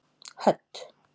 Hödd